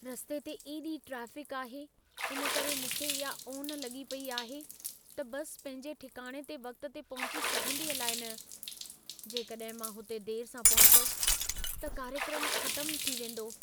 रस्ते ते एॾी ट्रेफ़िक आहे, इन करे मूंखे इहा ओन लॻी पेई आहे, त बस पंहिंजे ठिकाणे ते वक़्त ते पहुची सघंदी अलाइ न। जेकॾहिं मां हुते देर सां पहुतसि त कार्यक्रमु ख़तमु थी वेंदो।